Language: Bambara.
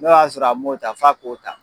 N' o y'a sɔrɔ a m'o ta f'a k'o ta